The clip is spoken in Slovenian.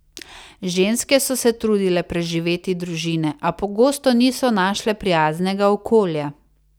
Ženske so se trudile preživeti družine, a pogosto niso našle prijaznega okolja.